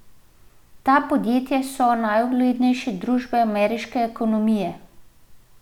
Ta podjetja so najuglednejše družbe ameriške ekonomije.